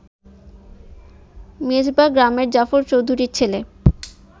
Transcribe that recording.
মেজবাহ গ্রামের জাফর চৌধুরীর ছেলে